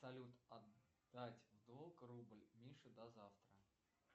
салют отдать долг рубль мише до завтра